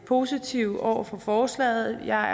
positive over for forslaget jeg er